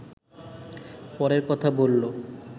পরের কথা বললো